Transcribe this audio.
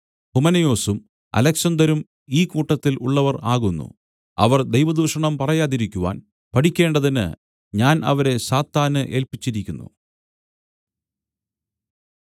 ഹുമനയൊസും അലെക്സന്തരും ഈ കൂട്ടത്തിൽ ഉള്ളവർ ആകുന്നു അവർ ദൈവദുഷണം പറയാതിരിക്കുവാൻ പഠിക്കേണ്ടതിന് ഞാൻ അവരെ സാത്താന് ഏല്പിച്ചിരിക്കുന്നു